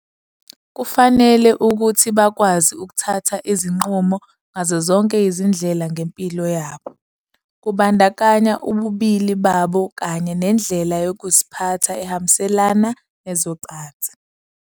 Kufanele ukuthi bakwazi ukuthatha izinqumo ngazo zonke izindlela ngempilo yabo, kubandakanya ububili babo kanye nendlela yokuziphatha ehambiselana nezocansi.